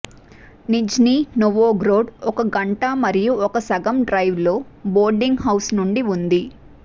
Nizhny Novgorod ఒక గంట మరియు ఒక సగం డ్రైవ్ లో బోర్డింగ్ హౌస్ నుండి ఉంది